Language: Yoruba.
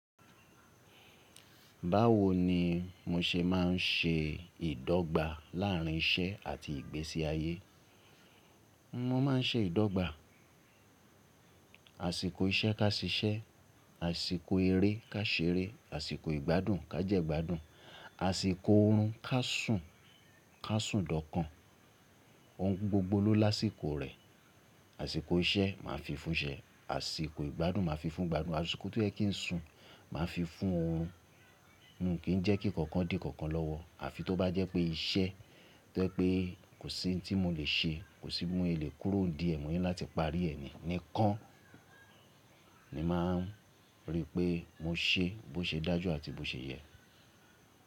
Báwo ni mo ṣe máa ń ṣe ìdọ́gba láàrín iṣẹ́ àti ìgbésí ayé? N o máa ń ṣe ìdọ́gba, àsìkò iṣẹ́ ká ṣiṣẹ́, àsìkò eré ká ṣeré, àsìkò ìgbádùn ká jẹ́ igbádùn, àsìkò oorun ká sùn, ká sùn dọ́kàn. Ohun gbogbo ló lásìkò rẹ̀. Àsìkò iṣẹ́ màá fi fún iṣẹ́, àsìkò ìgbádùn màá fi fún ìgbádùn, àsìkò tí ó yẹ kí n sùn, màá fi fún oorun. Kì n jẹ́ kí nǹkan kan dì nǹkan kan lọ́wọ́. Àfi tó bá jẹ́ pé iṣẹ́ tó yẹ́ pé kò sí n tí mo lè ṣe, kò sí bi mo yè kúrò n ídi ẹ̀ mo ni láti parí ẹ ni. Nìkan ni màá n rí pé mo ṣe bó ṣe dájú àti bó ṣe yẹ.